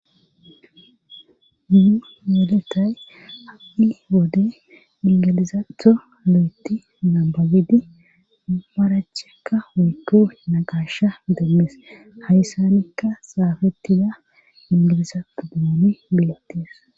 nu yeletay hadhi wode ingilizaatho lo7eti nababidi barachekka woykku nagasha demmees hayssanikka saafettida ingiliza pu dumoomi beettees